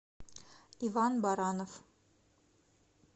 иван баранов